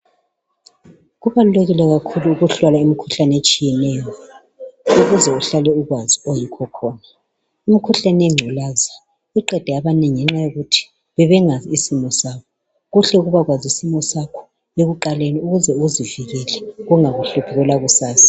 kubalulekile kakhulu ukuhlola imukhuhlane etshiyeneyo ukuzeuhlale ukwazi oyikho khona imikhuhlane yenxilazi iqede abanengi ngenxayokuthi bebengasazi isimo sabo kuhle ukubakwazi isimosakho ekuqaleni ukuze uzivekele kungabuhluphi kwelakusasa